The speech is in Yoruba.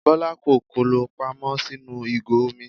Bọ́lá kó kòló pamọ́ sínú ìgò omi.